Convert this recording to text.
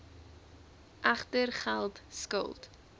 egter geld skuld